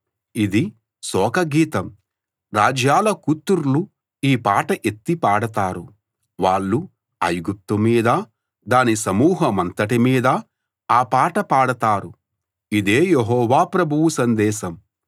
ఇది శోకగీతం రాజ్యాల కూతుర్లు ఈ పాట ఎత్తి పాడతారు వాళ్ళు ఐగుప్తు మీదా దాని సమూహమంతటి మీదా ఆ పాట పాడతారు ఇదే యెహోవా ప్రభువు సందేశం